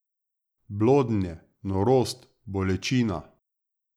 Blodnje, norost, bolečina.